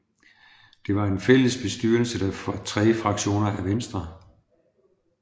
Det var en fælles bestyrelse for tre fraktioner af Venstre